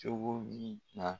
Cogo min na.